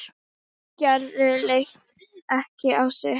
Gerður leit ekki á sitt.